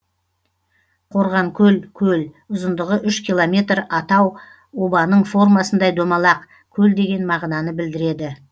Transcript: қорғанкөл көл ұзындығы үш километр атау обаның формасындай домалақ көл деген мағынаны білдіреді